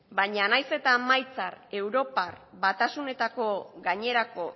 baina nahiz eta emaitza europar batasuneko gainerako